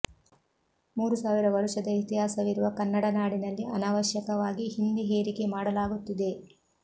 ಮೂರು ಸಾವಿರ ವರುಷದ ಇತಿಹಾಸವಿರುವ ಕನ್ನಡ ನಾಡಿನಲ್ಲಿ ಅನವಶ್ಯಕವಾಗಿ ಹಿಂದಿ ಹೇರಿಕೆ ಮಾಡಲಾಗುತ್ತಿದೆ